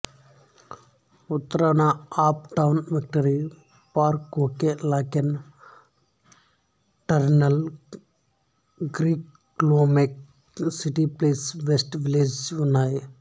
ఉత్తరాన Uptown Victory Park Oak Lawn Turtle Creek లోమెక్ City Place West Village ఉన్నాయి